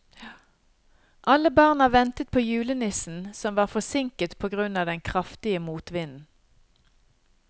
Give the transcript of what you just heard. Alle barna ventet på julenissen, som var forsinket på grunn av den kraftige motvinden.